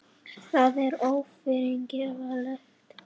Það er ófyrirgefanlegt